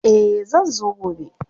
Eh zan zo gobe.